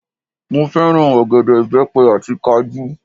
Mo fẹ́ràn ọ̀gẹ̀dẹ̀, ìbẹ́pẹ àti kajú